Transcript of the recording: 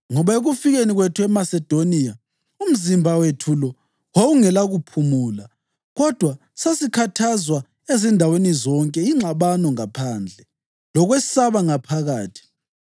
Ngoba ekufikeni kwethu eMasedoniya, umzimba wethu lo wawungelakuphumula kodwa sasikhathazwa ezindaweni zonke, ingxabano ngaphandle, lokwesaba ngaphakathi.